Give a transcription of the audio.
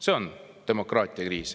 See on demokraatiakriis.